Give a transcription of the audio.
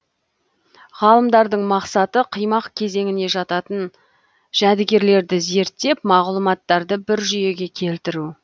ғалымдардың мақсаты қимақ кезеңіне жататын жәдігерлерді зерттеп мағлұматтарды бір жүйеге келтіру